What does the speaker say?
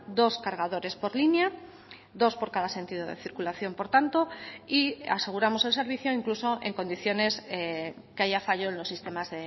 dos cargadores por línea dos por cada sentido de circulación por tanto y aseguramos el servicio incluso en condiciones que haya fallo en los sistemas